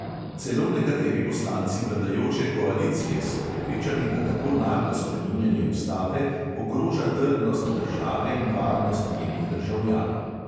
Celo nekateri poslanci vladajoče koalicije so prepričani, da tako naglo spreminjanje ustave ogroža trdnost države in varnost njenih državljanov.